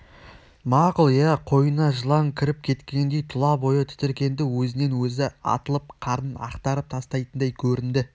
мақұл иә қойнына жылан кіріп кеткендей тұла бойы тітіркенді өзінен өзі атылып қарнын ақтарып тастайтындай көрінді